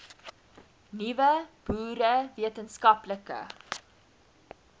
nuwe boere wetenskaplike